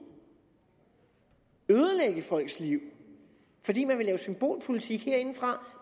ødelægge folks liv fordi man vil lave symbolpolitik herindefra